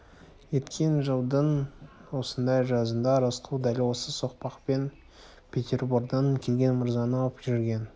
өткен жылдың осындай жазында рысқұл дәл осы соқпақпен петербордан келген мырзаны алып жүрген